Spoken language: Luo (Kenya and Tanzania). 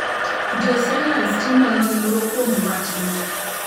Josayans timo nonro kuom wachno.